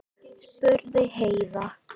spurði Heiða.